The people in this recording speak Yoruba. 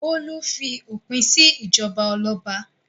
Bólú fi òpin sí ìjọba ọlọ́ba.